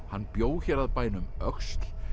hann bjó hér að bænum öxl